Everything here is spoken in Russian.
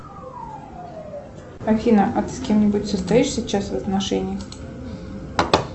афина а ты с кем нибудь состоишь сейчас в отношениях